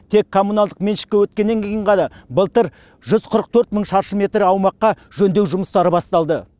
тек коммуналдық меншікке өткеннен кейін ғана былтыр жүз қырық төрт мың шаршы метр аумаққа жөндеу жұмыстары басталды